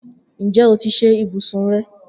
Njẹ o ti ṣe ibusun rẹ?